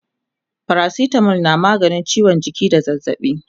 paracetamol na maganin ciwon jiki da zazzaɓi